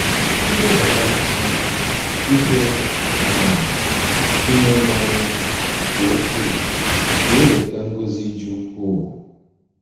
Ilebara um ihe um ime mmụọ anya nke ukwuu ga-eweta ngọzi dị ukwuu.